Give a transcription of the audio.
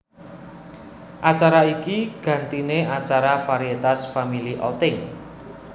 Acara iki gantine acara varietas Family Outing